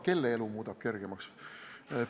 Kelle elu see muudaks kergemaks?